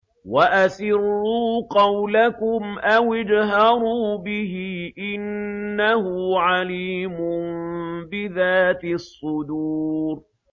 وَأَسِرُّوا قَوْلَكُمْ أَوِ اجْهَرُوا بِهِ ۖ إِنَّهُ عَلِيمٌ بِذَاتِ الصُّدُورِ